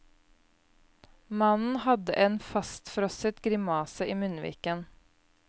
Mannen hadde en fastfrosset grimase i munnviken.